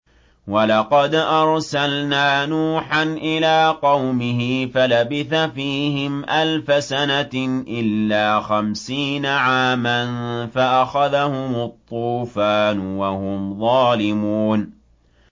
وَلَقَدْ أَرْسَلْنَا نُوحًا إِلَىٰ قَوْمِهِ فَلَبِثَ فِيهِمْ أَلْفَ سَنَةٍ إِلَّا خَمْسِينَ عَامًا فَأَخَذَهُمُ الطُّوفَانُ وَهُمْ ظَالِمُونَ